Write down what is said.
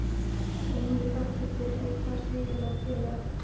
Og hún er þakklát fyrir að eignast heiðarlegan félaga.